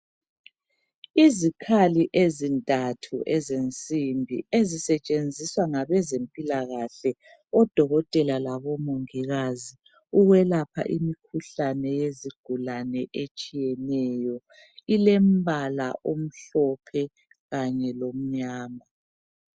Izikhali ezintathu ezensimbi ezisetshenziswa ngabezempilakahle odokotela labo mongikazi ukwelapha imikhuhlane yezigulane etshiyeneyo. Ilombala omhlophe kanye lomnyama.